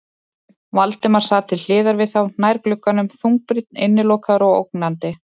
Valdimar sat til hliðar við þá, nær glugganum, þungbrýnn, innilokaður og ógnandi.